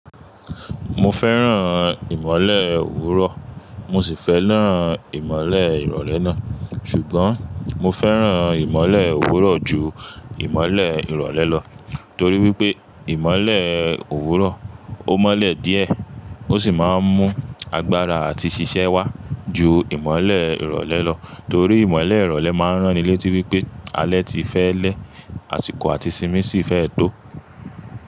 Mo fẹ́ràn ìmọ́lẹ̀ òwúrọ̀, mo sì fẹ́ràn ìmọ́lẹ̀ ìrọ̀lẹ́ náà, ṣùgbọ́n mo fẹ́ràn ìmọ́lẹ̀ òwúrọ̀ ju ìmọ́lẹ̀ ìrọ̀lẹ́ lọ, torí wípé ìmọ́lẹ̀ òwúrọ̀ ó mọ́lẹ̀ díẹ̀ ó sì máa ń mú agbára àti ṣiṣẹ́ wá ju ìmọ́lẹ̀ ìrọ̀lẹ́ lọ. Torí ìmọ́lẹ̀ ìrọ̀lẹ́ máa ń rán ni létí wípé alẹ́ ti fẹ́ lẹ́, àsìkò àti sinmi sì fẹ́ tó.